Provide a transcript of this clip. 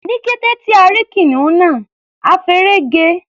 Ní kété tí a rí kìnìún náà, a feré ge.